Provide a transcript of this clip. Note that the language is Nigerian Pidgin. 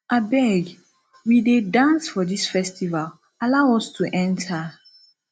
abeg we dey dance for dis festival allow us to enter